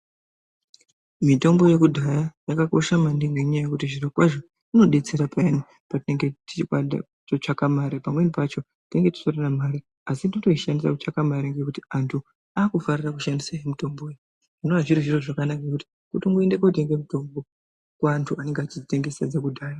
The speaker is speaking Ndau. Mitombo yekudhaya yakakosha maningi ngenyaya yekuti zviro kwazvo inodetsera pheyani patinenge tichitsvaka mare pamweni pacho tinenge tisitorona mare asi totoishandisa kutsaka mare ngekuti anthu aakufarira kushandise mitombo zvinova zviri zviro zvakanaka ngekuti kutongoende kootenge mutombo kuantu anenge echidzitengesa dzekudhaya.